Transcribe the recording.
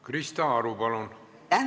Krista Aru, palun!